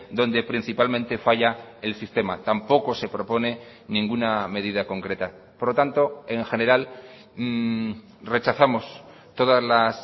donde principalmente falla el sistema tampoco se propone ninguna medida concreta por lo tanto en general rechazamos todas las